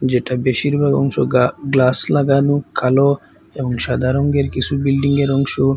যেটা বেশিরভাগ অংশ গা গ্লাস লাগানো কালো এবং সাদা রংয়ের কিছু বিল্ডিংয়ের অংশ।